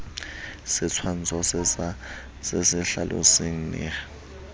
setshwantsho se se hlalosang neha